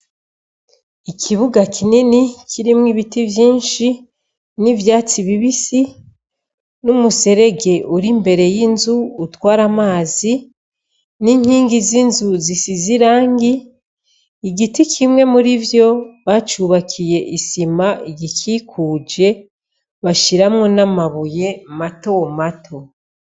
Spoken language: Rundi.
Ikibuga kineni kirimwo ibiti vyinshi n'ivyatsi bibisi n'umuserege uri mbere y'inzu utwara amazi n'inkingi z'inzuzi si zirangi igiti kimwe muri vyo bacubakiye isima igikikuje bashiramwo n'amabuye mato mato.